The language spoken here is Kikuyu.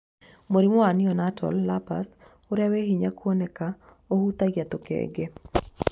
Mũrimũ wa Neonatal lupus ũrĩa weĩ hinya kwoneka ũhutagia tũkenge.